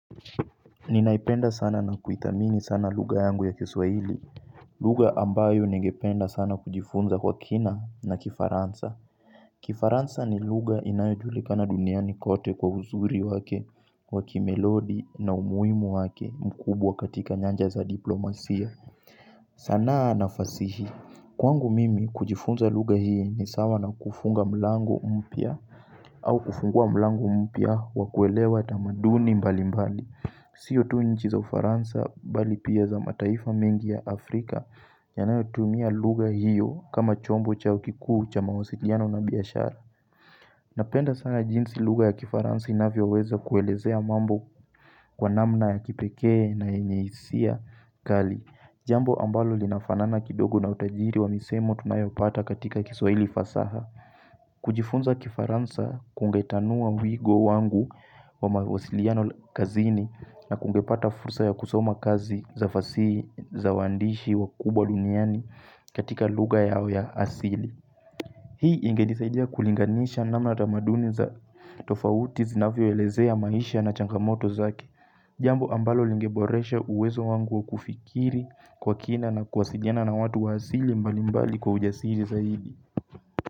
Ninaipenda sana na kuithamini sana lugha yangu ya kiswaili lugha ambayo nengependa sana kujifunza kwa kina na kifaransa kifaransa ni lugha inayo julikana duniani kote kwa uzuri wake wakimelodi na umuimu wake mkubwa katika nyanja za diplomasia sanaa na fasihi Kwangu mimi kujifunza lugha hii ni sawa na kufunga mlango mpya au kufungua mlango mpya wakuelewa tamaduni mbali mbali siyo tu nchi za ufaransa bali pia za mataifa mengi ya Afrika yanayo tumia lugha hiyo kama chombo chao kikuu cha mawasiliano na biashara Napenda sana jinsi lugha ya kifaransa inavyo weza kuelezea mambo Kwa namna ya kipekee na yenye hisia kali Jambo ambalo linafanana kidogo na utajiri wa misemo tunayopata katika kiswaili fasaha kujifunza kifaransa kungetanua muigo wangu wa mawasiliano kazini na kungepata fursa ya kusoma kazi za fasihi za waandishi wa kubwa duniani katika lugha yao ya asili. Hii ingedisaidia kulinganisha namna tamaduni za tofauti zinavyo elezea maisha na changamoto zake. Jambo ambalo lingeboresha uwezo wangu wa kufikiri kwa kina na kuasidiana na watu wa asili mbali mbali kwa ujasiri zaidi.